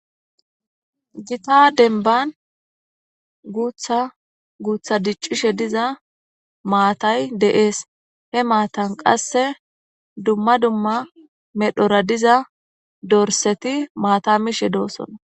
Gitta deniban gutha gutha dicishe diza matay de'es he matan qasi duma duma dhedhora diza dorisati mata mishe do'sona